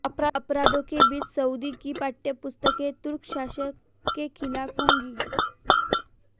अपराधों के बीच सऊदी की पाठ्य पुस्तकें तुर्क शासन के खिलाफ होंगी